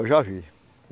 Eu já vi.